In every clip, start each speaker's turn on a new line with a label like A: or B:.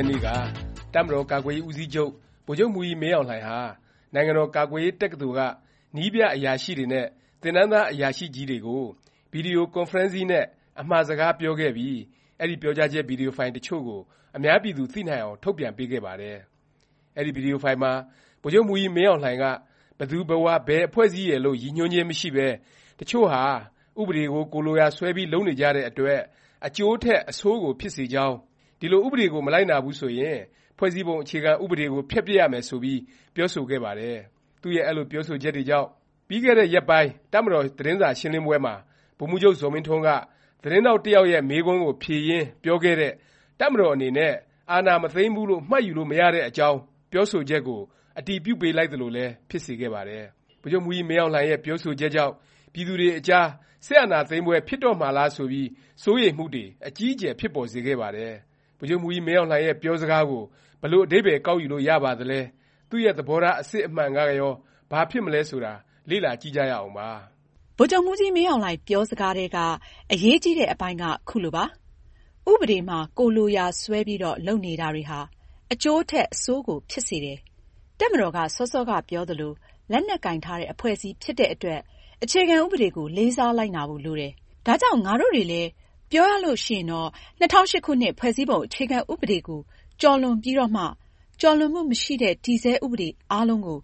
A: ရက်နေ့က တပ်မတော်ကာကွယ်ရေး ဦးစီးချုပ် ဗိုလ်ချုပ်မှူးကြီးမင်းအောင်လှိုင်ဟာ နိုင်ငံတော် ကာကွယ်ရေး တက္ကသိုလ်က နည်းပြ အရာရှိတွေနဲ့ သင်တန်းသား အရာရှိကြီးတွေကို Video Conferencing နဲ့ အမှာစကားပြောခဲ့ပြီး အဲဒီ ပြောကြားချက်ဗီဒီယိုဖိုင် တစ်ချို့ကို အများပြည်သူ သိနိုင်အောင် ထုတ်ပြန်ပေးခဲ့ပါတယ်။ အဲဒီ ဗီဒီယိုဖိုင်မှာ ဗိုလ်ချုပ်မှူးကြီး မင်းအောင်လှိုင်က ဘယ်သူဘယ်ဝါ ဘယ်အဖွဲ့အစည်းရယ်လို့ ရည်ညွှန်းခြင်းမရှိပဲ တစ်ချို့ဟာ ဥပဒေကို ကိုယ်လိုရာဆွဲပြီး လုပ်နေကြတဲ့ အတွက် အကျိုးထက် အဆိုးကို ဖြစ်စေကြောင်း၊ ဒီလို ဥပဒေကို မလိုက်နာဘူး ဆိုရင် ဖွဲ့စည်းပုံ အခြေခံ ဥပဒေကို ဖျက်ပစ်ရမယ် ဆိုပြီး ပြောဆိုခဲ့ပါတယ်။ သူ့ရဲ့ အဲလို ပြောဆိုချက်တွေကြောင့် ပြီးခဲ့တဲ့ရက်ပိုင်း တပ်မတော် သတင်းစာရှင်းလင်းပွဲမှာ ဗိုလ်မှူးချုပ် ဇော်မင်းထွန်းက သတင်းထောက် တစ်ယောက်ရဲ့ မေးခွန်းကို ဖြေရင်း ပြောခဲ့တဲ့ တပ်မတော်အနေနဲ့ အာဏာမသိမ်းဘူးလို့ မှတ်ယူလို့ မရတဲ့အကြောင်း ပြောဆိုချက်ကို အတည်ပြုပေးလိုက်သလိုလည်း ဖြစ်စေခဲ့ပါတယ်။ ဗိုလ်ချုပ်မှူးကြီးမင်းအောင်လှိုင်ရဲ့ ပြောဆိုချက်ကြောင့် ပြည်သူတွေအကြား စစ်အာဏာသိမ်းပွဲ ဖြစ်တော့မှာလား ဆိုပြီး စိုးရိမ်မှုတွေ အကြီးအကျယ် ဖြစ်ပေါ်စေခဲ့ပါတယ်။ ဗိုလ်ချုပ်မှူးကြီး မင်းအောင်လှိုင်ရဲ့ ပြောစကားကို ဘယ်လို အဓိပ္ပါယ် ကောက်ယူလို့ရပါသလဲ၊ သူ့ရဲ့ သဘောထား ဆန္ဒ အစစ်အမှန်ကရော ဘာဖြစ်မလဲ ဆိုတာ လေ့လာကြည့်ကြရအောင်ပါ
B: ။ ဗိုလ်ချုပ်မှူးကြီး မင်းအောင်လှိုင်ပြောစကားထဲက အရေးကြီးတဲ့ အပိုင်းက ခုလိုပါ။ “ဥပဒေမှာ ကိုယ်လိုရာဆွဲပြီးတော့ လုပ်နေတာတွေဟာ အကျိုးထက် အဆိုးကို ဖြစ်စေတယ်။ တပ်မတော်က စောစောကပြောသလို လက်နက်ကိုင်ထားတဲ့ အဖွဲ့ အစည်းဖြစ်တဲ့အတွက် အခြေခံဥပဒေကို လေးစားလိုက်နာဖို့လိုတယ်။ ဒါကြောင့် ငါတို့တွေ လည်း ပြောရလို့ရှိရင်တော့ ၂၀၀၈ ခုနှစ်၊ ဖွဲ့စည်းပုံအခြေခံဥပဒေကို ကျော်လွန်ပြီးတော့မှ ကျော်လွန်မှုမရှိတဲ့ တည်ဆဲဥပဒေအားလုံးကို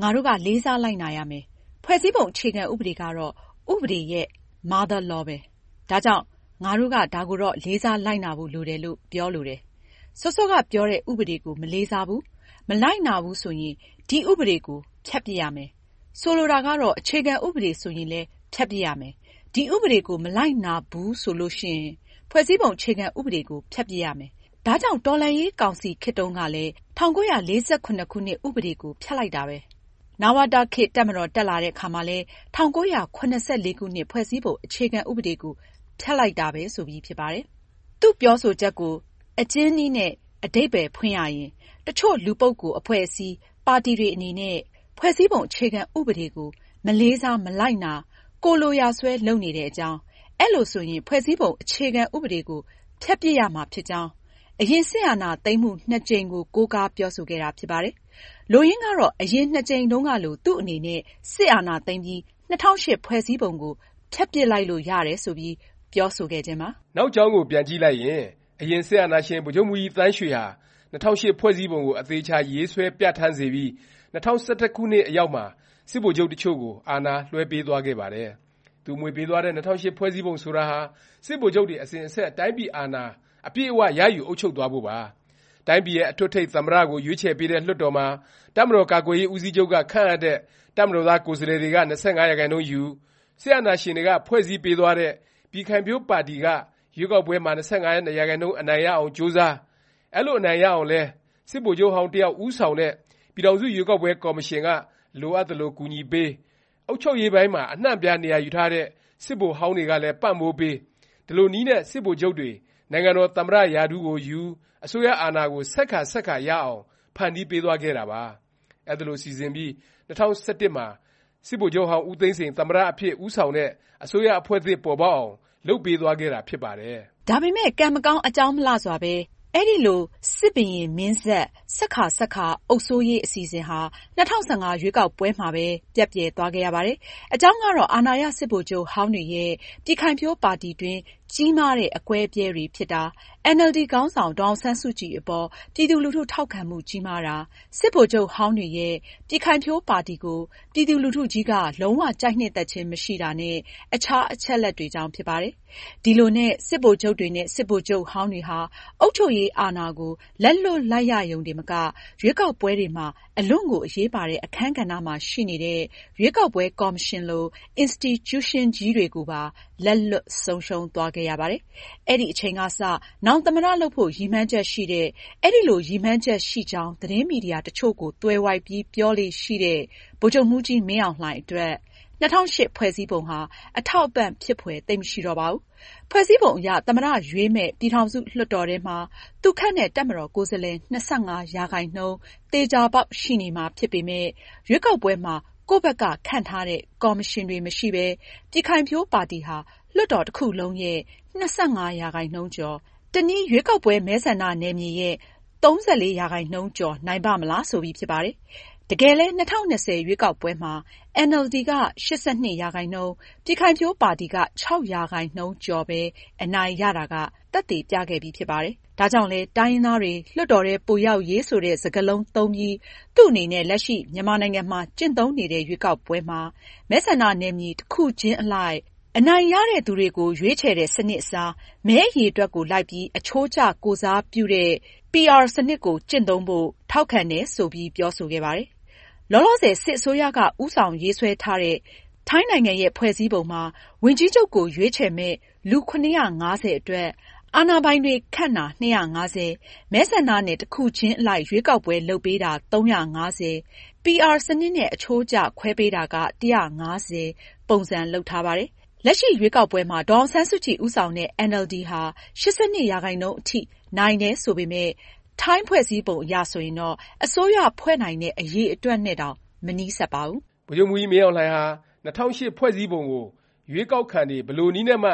B: ငါတို့က လေးစားလိုက်နာရမယ်။ ဖွဲ့စည်းပုံ အခြေခံဥပဒေကတော့ ဥပဒေရဲ့ Mother Law ပဲ။ ဒါကြောင့် ငါတို့က ဒါကိုတော့ လေးစား လိုက်နာဖို့လိုတယ်လို့ ပြောလိုတယ်၊ စောစောကပြောတဲ့ ဥပဒေကို မလေးစားဘူး၊ မလိုက်နာဘူးဆိုရင် ဒီဥပဒေကို ဖျက်ပစ်ရမယ်။ ဆိုလိုတာကတော့ အခြေခံဥပဒေ ဆိုရင်လည်း ဖျက်ပစ်ရမယ်။ ဒီဥပဒေကို မလိုက်နာဘူး ဆိုလို့ရှိရင် ဖွဲ့စည်းပုံအခြေခံဥပဒေကို ဖျက်ပစ်ရမယ်။ ဒါကြောင့် တော်လှန်ရေး ကောင်စီ ခေတ်တုန်းကလည်း ၁၉၄၇ ခုနှစ်၊ ဥပဒေကို ဖျက်လိုက်တာပဲ။ နဝတခေတ် တပ်မတော်တက်လာတဲ့အခါမှာ ၁၉၇၄ ခုနှစ်၊ ဖွဲ့စည်းပုံ အခြေခံဥပဒေကို ဖျက်လိုက်တာပဲ။” ဆိုပြီးဖြစ်ပါတယ်။ သူ့ပြောဆိုချက်ကို အကျဉ်းနည်းနဲ့ အဓိပ္ပါယ်ဖွင့်ရရင် တစ်ချို့ လူပုဂ္ဂိုလ်၊ အဖွဲ့အစည်း၊ ပါတီ တွေ အနေနဲ့ ဖွဲ့စည်းပုံ အခြေခံ ဥပဒေကို မလေးစား၊ မလိုက်နာ၊ ကိုယ်လိုရာဆွဲ လုပ်နေတဲ့ အကြောင်း၊ အဲလိုဆိုရင် ဖွဲ့စည်းပုံ အခြေခံ ဥပဒေကို ဖျက်ပစ်ရမှာဖြစ်ကြောင်း အရင် စစ်အာဏာသိမ်းမှု နှစ်ကြိမ်ကို ကိုးကားပြောဆိုခဲ့တာ ဖြစ်ပါတယ်။ လိုရင်းကတော့ အရင် ၂ ကြိမ်တုန်းကလို သူ့အနေနဲ့ စစ်အာဏာသိမ်းပြီး ၂၀၀၈ ဖွဲ့စည်းပုံကို ဖျက်ပစ်လိုက်လို့ ရတယ် ဆိုပြီး ပြောဆိုခဲ့ခြင်းပါ
A: ။ နောက်ကြောင်းကို ပြန်ကြည့်လိုက်ရင် အရင် စစ်အာဏာရှင် ဗိုလ်ချုပ်မှူးကြီးသန်းရွှေဟာ ၂၀၀၈ ဖွဲ့စည်းပုံကို အသေအခြာ ရေးဆွဲ ပြဌာန်းစေပြီး ၂၀၁၁ ခုနှစ်အရောက်မှာ စစ်ဗိုလ်ချုပ်တစ်ချို့ကို အာဏာ လွဲှပေးသွားခဲ့ပါတယ်။ သူအမွေပေးသွားတဲ့ ၂၀၀၈ ဖွဲ့စည်းပုံ ဆိုတာဟာ စစ်ဗိုလ်ချုပ်တွေ အစဉ်အဆက် တိုင်းပြည်အာဏာ အပြည့်အ၀ ရယူ အုပ်ချုပ်သွားဖို့ပါ။ တိုင်းပြည်ရဲ့ အထွဋ်အထိပ် သမ္မတ ကို ရွေးချယ်ပေးတဲ့ လွှတ်တော်မှာ တပ်မတော် ကာကွယ်ရေး ဦးစီးချုပ်က ခန့်အပ်တဲ့ တပ်မတော်သား ကိုယ်စားလှယ်တွေက ၂၅% ယူ၊ စစ်အာဏာရှင်တွေက ဖွဲ့စည်းပေးသွားတဲ့ ပြည်ခိုင်ဖြိုးပါတီက ရွေးကောက်ပွဲမှာ ၂၅% အနိုင်ရအောင်ကြိုးစား၊ အဲလို အနိုင်ရအောင်လည်း စစ်ဗိုလ်ချုပ်ဟောင်း တစ်ယောက် ဦးဆောင်တဲ့ ပြည်ထောင်စု ရွေးကောက်ပွဲ ကော်မရှင်က လိုအပ်သလို ကူညီပေး၊ အုပ်ချုပ်ရေးပိုင်းမှာ အနှံ့အပြား နေရာယူထားတဲ့ စစ်ဗိုလ်ဟောင်းတွေကလည်း ပံ့ပိုးပေး၊ ဒီလိုနည်းနဲ့ စစ်ဗိုလ်ချုပ်တွေ နိုင်ငံတော် သမ္မတ ရာထူးကိုယူ၊ အစိုးရအာဏာကို ဆက်ကာ ဆက်ကာ ရအောင် ဖန်တီးပေးသွားခဲ့တာပါ။ အဲဒီလို စီစဉ်ပြီး ၂၀၁၁ မှာ စစ်ဗိုလ်ချုပ်ဟောင်း ဦးသိန်းစိန် သမ္မတ အဖြစ်ဦးဆောင်တဲ့ အစိုးရအဖွဲ့သစ် ပေါ်ပေါက်အောင် လုပ်ပေးသွားခဲ့တာဖြစ်ပါတယ်
B: ။ ဒါပေမယ့် ကံမကောင်း အကြောင်းမလှစွာပဲ အဲဒီလို စစ်ဘုရင်မင်းဆက် ဆက်ကာ ဆက်ကာ အုပ်စိုးရေး အစီအစဉ်ဟာ ၂၀၁၅ ရွေးကောက်ပွဲမှာပဲ ပျက်ပြယ်သွားခဲ့ရပါတယ်။ အကြောင်းကတော့ အာဏာရ စစ်ဗိုလ်ချုပ်ဟောင်းတွေရဲ့ ပြည်ခိုင်ဖြိုးပါတီတွင်း ကြီးမားတဲ့ အကွဲအပြဲတွေ ဖြစ်တာ၊ အင်န်အယ်လ်ဒီ ခေါင်းဆောင် ဒေါ်အောင်ဆန်းစုကြည် အပေါ် ပြည်သူလူထု ထောက်ခံမှု ကြီးမားတာ၊ စစ်ဗိုလ်ချုပ်ဟောင်းတွေရဲ့ ပြည်ခိုင်ဖြိုးပါတီကို ပြည်သူလူထုကြီးက လုံး၀ ကြိုက်နှစ်သက်ခြင်း မရှိတာနဲ့ အခြား အချက်အလက်တွေကြောင့် ဖြစ်ပါတယ်။ ဒီလိုနဲ့ စစ်ဗိုလ်ချုပ်တွေနဲ့ စစ်ဗိုလ်ချုပ်ဟောင်းတွေဟာ အုပ်ချုပ်ရေးအာဏာကို လက်လွှတ်လိုက်ရရုံတင်မက ရွေးကောက်ပွဲတွေမှာ အလွန့်ကို အရေးပါတဲ့ အခန်းကဏ္ဍမှာ ရှိနေတဲ့ ရွေးကောက်ပွဲ ကော်မရှင်လို အင်စတီကျူးရှင်းကြီးတွေကိုပါ လက်လွတ် ဆုံးရှုံးသွားခဲ့ရပါတယ်။ အဲဒီအချိန်ကစ နောင် သမ္မတ လုပ်ဖို့ ရည်မှန်းချက်ရှိတဲ့၊ အဲလို ရည်မှန်းချက်ရှိကြောင်း သတင်းမီဒီယာ တစ်ချို့ကို သွယ်ဝိုက်ပြီး ပြောလေ့ရှိတဲ့ ဗိုလ်ချုပ်မှုးကြီးမင်းအောင်လှိုင်အတွက် ၂၀၀၈ ဖွဲ့စည်းပုံဟာ အထောက်အပံ့ဖြစ်ဖွယ် သိပ်မရှိတော့ပါဘူး။ ဖွဲ့စည်းပုံအရ သမ္မတ ရွေးမယ့် ပြည်ထောင်စု လွှတ်တော်ထဲမှာ သူခန့်တဲ့ တပ်ကိုယ်စားလှယ် ၂၅% သေခြာပေါက် ရှိနေမှာ ဖြစ်ပေမယ့် ရွေးကောက်ပွဲမှာ ကိုယ့်ဘက်က ခန့်ထားတဲ့ ကော်မရှင်တွေ မရှိပဲ ပြည်ခိုင်ဖြိုးပါတီဟာ လွှတ်တော် တစ်ခုလုံးရဲ့ ၂၅%ကျော်၊ တစ်နည်း ရွေးကောက်ပွဲ မဲဆန္ဒနယ်မြေရဲ့ ၃၄% ကျော်နိုင်ပါ့မလား ဆိုပြီးဖြစ်ပါတယ်။ တကယ်လည်း ၂၀၂၀ ရွေးကောက်ပွဲမှာ အင်န်အယ်လ်ဒီက ၈၂%၊ ပြည်ခိုင်ဖြိုးပါတီက ၆% ကျော်ပဲ အနိုင်ရတာက သက်သေပြခဲ့ပြီဖြစ်ပါတယ်။ ဒါကြောင့်လဲ တိုင်းရင်းသားတွေ လွှတ်တော်ထဲ ပိုရောက်ရေး ဆိုတဲ့ စကားလုံးသုံးပြီး သူ့အနေနဲ့ လက်ရှိ မြန်မာနိုင်ငံမှာ ကျင့်သုံးနေတဲ့ ရွေးကောက်ပွဲမှာ မဲဆန္ဒနယ်မြေ တစ်ခုချင်းအလိုက် First past the post စနစ်နဲ့ အနိုင်ရတဲ့သူတွေကို ရွေးချယ်တဲ့ စနစ်အစား မဲအရေအတွက်ကို လိုက်ပြီး အချိုးကျ ကိုယ်စားပြုတဲ့ Proportional Representation (PR) စနစ်ကို ကျင့်သုံးဖို့ ထောက်ခံတယ် ဆိုပြီး ပြောဆိုခဲ့ပါတယ်။ လောလောဆယ် စစ်အစိုးရက ဦးဆောင်ရေးဆွဲထားတဲ့ ထိုင်းနိုင်ငံရဲ့ ဖွဲ့စည်းပုံမှာ ဝန်ကြီးချုပ်ကို ရွေးချယ်မယ့် လူ ၇၅၀ အတွက်၊ အာဏာပိုင်တွေ ခန့်တာ ၂၅၀၊ မဲဆန္ဒနယ် တစ်ခုချင်းအလိုက် ရွေးကောက်ပွဲ လုပ်ပေးတာ ၃၅၀၊ PR စနစ်နဲ့ အချိုးကျ ခွဲပေးတာက ၁၅၀ ပုံစံ လုပ်ထားပါတယ်။ လက်ရှိ ရွေးကောက်ပွဲမှာ ဒေါ်အောင်ဆန်းစုကြည် ဦးဆောင်တဲ့ အင်န်အယ်လ်ဒီဟာ ၈၂% အထိ နိုင်တယ် ဆိုပေမယ့် ထိုင်းဖွဲ့စည်းပုံ အရဆိုရင်တော့ အစိုးရဖွဲ့နိုင်တဲ့ အရေအတွက်နဲ့တောင် မနီးစပ်ပါဘူ
A: း။ ဗိုလ်ချုပ်မှူးကြီးမင်းအောင်လှိုင်ဟာ ၂၀၀၈ ဖွဲ့စည်းပုံကို ရွေးကောက်ခံတွေ ဘယ်လိုနည်းနဲ့မှ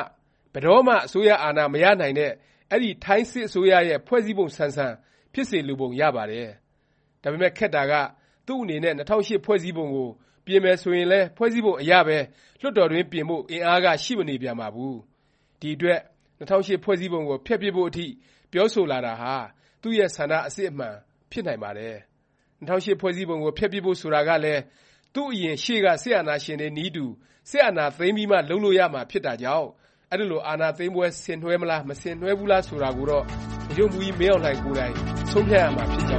A: ဘယ်တော့မှ အစိုးရ အာဏာမရနိုင်တဲ့ အဲဒီ ထိုင်းစစ်အစိုးရရဲ့ ဖွဲ့စည်းပုံဆန်ဆန် ဖြစ်စေလိုပုံ ရပါတယ်။ ဒါပေမယ့် ခက်တာက သူ့အနေနဲ့ ၂၀၀၈ ဖွဲ့စည်းပုံကို ပြင်မယ်ဆိုရင်လည်း ဖွဲ့စည်းပုံ အရပဲ လွှတ်တော်တွင်း ပြင်ဖို့ အင်အားက ရှိမနေပြန်ပါဘူး။ ဒီ အတွက် ၂၀၀၈ ဖွဲ့စည်းပုံကို ဖျက်ပစ်ဖို့ အထိ ပြောဆိုလာတာဟာ သူ့ရဲ့ ဆန္ဒ အစစ်အမှန်ဖြစ်နိုင်ပါတယ်။ ၂၀၀၈ ဖွဲ့စည်းပုံကို ဖျက်ပစ်ဖို့ ဆိုတာကလည်း သူ့အရင် ရှေ့က စစ်အာဏာရှင်တွေနည်းတူ စစ်အာဏာသိမ်းပြီးမှ လုပ်လို့ရမှာဖြစ်တာကြောင့် အဲဒီလို အာဏာသိမ်းပွဲ ဆင်နွဲှမလား၊ မဆင်နွဲှဘူးလား ဆိုတာကိုတော့ ဗိုလ်ချုပ်မှူးကြီးမင်းအောင်လှိုင် ကိုယ်တိုင် ဆုံးဖြတ်ရမှာ ဖြစ်ကြ